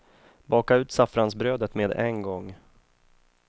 Baka ut saffransbrödet med en gång.